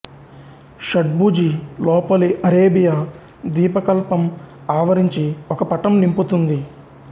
షడ్భుజి లోపలి అరేబియా ద్వీపకల్పం ఆవరించి ఒక పటం నింపుతుంది